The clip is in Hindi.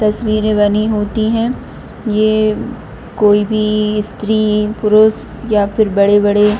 तस्वीरें बनी होती है ये कोई भी स्त्री पुरुष या फिर बड़े-बड़े --